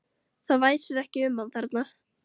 Það væsir ekki um hann þarna.